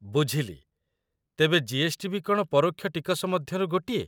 ବୁଝିଲି, ତେବେ ଜି.ଏସ୍.ଟି. ବି କ'ଣ ପରୋକ୍ଷ ଟିକସ ମଧ୍ୟରୁ ଗୋଟିଏ ?